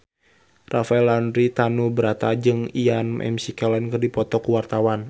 Rafael Landry Tanubrata jeung Ian McKellen keur dipoto ku wartawan